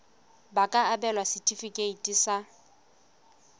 ba ka abelwa setefikeiti sa